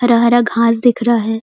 हरा-हरा घास दिख रहा है।